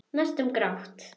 Næstum grátt.